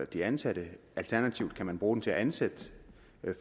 de ansatte alternativt kan man bruge den til at ansætte